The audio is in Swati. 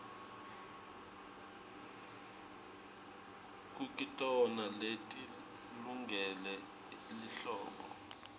kukitona leti lungele lihlobo